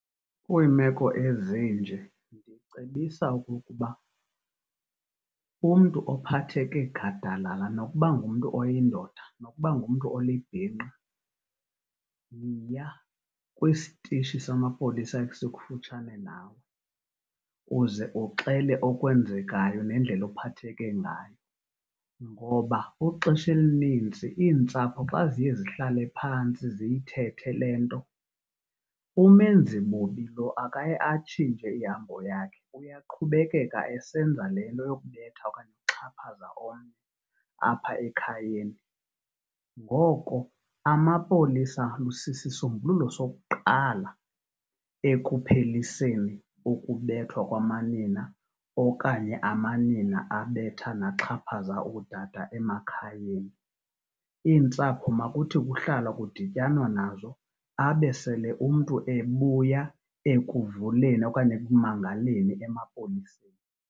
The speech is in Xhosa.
Kwiimeko ezinje ndicebisa okokuba umntu ophatheke gadalala nokuba ngumntu oyindoda nokuba ngumntu olibhinqa, yiya kwistishi samapolisa esikufutshane nawe uze uxele okwenzekayo nendlela ophatheke ngayo. Ngoba ixesha elininzi iintsapho xa ziye zihlale phantsi ziyithethe le nto umenzibubi lo akaye atsintshe ihambo yakhe, uyaqhubekeka esenza le nto yokubetha okanye yokuxhaphaza omnye apha ekhayeni. Ngoko amapolisa sisisombululo sokuqala ekupheliseni ukubethwa kwamanina okanye amanina abetha naxhaphaza ootata emakhayeni. Iintsapho makuthi kuhlalwa kudityanwa nazo abe sele umntu ebuya ekuvuleni okanye ekumangaleni emapoliseni.